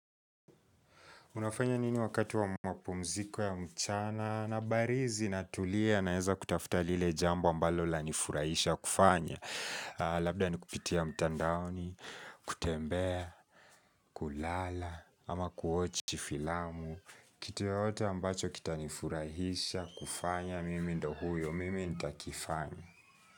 Unafanya nini wakati wa mapumziko ya mchana na barizi na tulia na naeza kutafuta lile jambo ambalo lanifurahisha kufanya. Labda nikupitia mtandaoni, kutembea, kulala, ama kuwatch filamu, kitu yoyote ambacho kitanifurahisha kufanya, mimi ndio huyo, mimi nitakifanya.